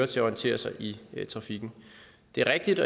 til at orientere sig i trafikken det er et